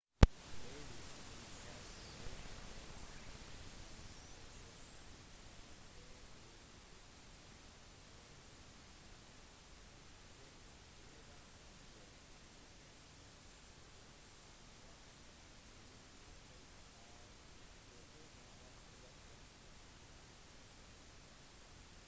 bevis indikerte deretter at eksamenspapirer hadde blitt tuklet med hall sammen med 34 andre utdanningsfunksjonærer ble tiltalt i 2013